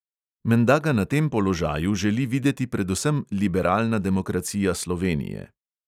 Menda ga na tem položaju želi videti predvsem liberalna demokracija slovenije.